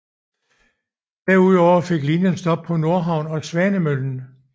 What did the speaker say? Derudover fik linjen stop på Nordhavn og Svanemøllen